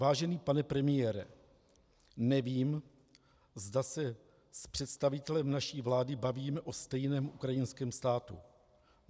Vážený pane premiére, nevím, zda se s představitelem naší vlády bavíme o stejném ukrajinském státu.